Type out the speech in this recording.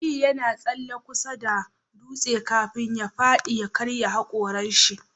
Aliyu yana tsalle kusa da dutsen kafin ya fadi ya karya hakorin shi